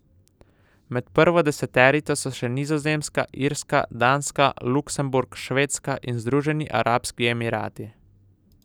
Med prvo deseterico so še Nizozemska, Irska, Danska, Luksemburg, Švedska in Združeni arabski emirati.